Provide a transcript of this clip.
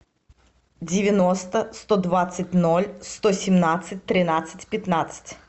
девяносто сто двадцать ноль сто семнадцать тринадцать пятнадцать